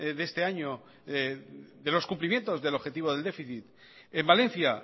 este año de los cumplimientos del objetivo del déficit en valencia